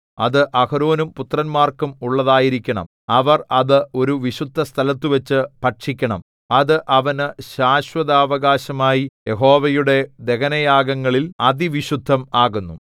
അത് അഹരോനും പുത്രന്മാർക്കും ഉള്ളതായിരിക്കണം അവർ അത് ഒരു വിശുദ്ധസ്ഥലത്തുവച്ച് ഭക്ഷിക്കണം അത് അവനു ശാശ്വതാവകാശമായി യഹോവയുടെ ദഹനയാഗങ്ങളിൽ അതിവിശുദ്ധം ആകുന്നു